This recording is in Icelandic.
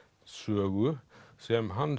sögu sem hann